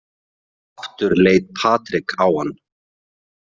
Aftur leit Patrik á hann.